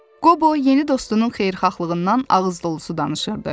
Qobo yeni dostunun xeyirxahlığından ağızdolusu danışırdı.